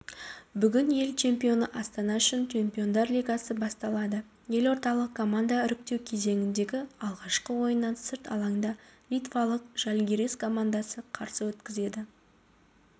бүгін ел чемпионы астана үшін чемпиондар лигасы басталады елордалық команда іріктеу кезеңіндегі алғашқы ойынын сырт алаңда литвалық жальгирис командасы қарсы өткізеді